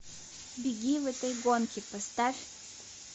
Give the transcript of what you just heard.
беги в этой гонке поставь